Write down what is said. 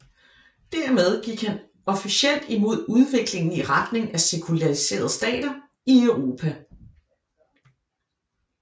Dermed gik han officielt imod udviklingen i retning af sekulariserede stater i Europa